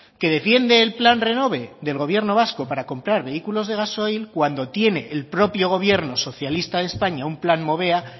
que defiende el plan renove del gobierno vasco para comprar vehículos de gasoil cuando tiene el propio gobierno socialista de españa un plan movea